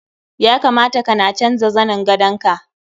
Ya kamata kana canja zanin gandaon ka.